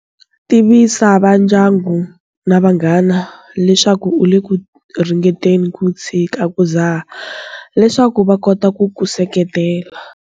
Tivisa vandyangu na vanghana leswaku u le ku ringeteni ku tshika ku dzaha leswaku va kota ku ku seketela.